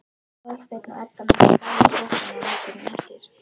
Aðalsteinn og Edda mættu bæði í sjoppuna morguninn eftir.